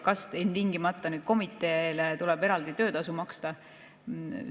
Kas ilmtingimata tuleb komiteele eraldi töötasu maksta?